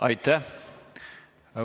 Aitäh!